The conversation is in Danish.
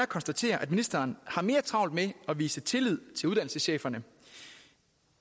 konstatere at ministeren har mere travlt med at vise tillid til uddannelsescheferne